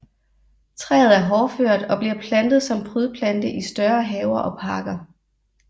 Træet er hårdført og bliver plantet som prydplante i større haver og parker